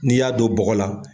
N'i y'a don bɔgɔ la